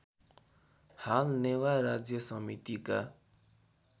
हाल नेवा राज्य समितिका